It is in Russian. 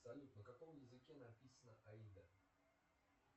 салют на каком языке написана аида